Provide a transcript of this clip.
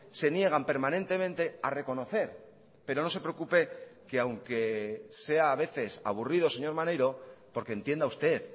se niegan permanentemente a reconocer pero no se preocupe que aunque sea a veces aburrido señor maneiro porque entienda usted